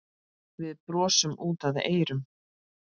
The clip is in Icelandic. Við brosum út að eyrum.